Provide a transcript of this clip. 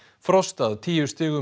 frost að tíu stigum